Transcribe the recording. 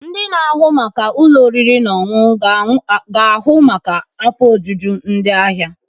Ndị na-ahụ maka ụlọ oriri na ọṅụṅụ ga ahu maka afọ ojuju ndị ahịa.